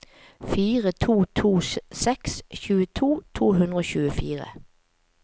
fire to to seks tjueto to hundre og tjuefire